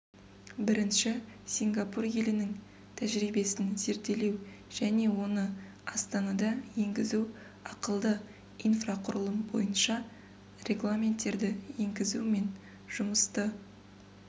бірінші сингапур елінің тәжірибесін зерделеу және оны астанада енгізу ақылды инфрақұрылым бойынша регламенттерді енгізу мен жұмысты